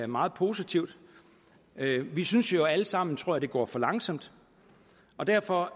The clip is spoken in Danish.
meget positivt vi synes jo alle sammen tror jeg at det går for langsomt og derfor